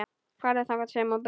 Farðu þangað sem hún býr.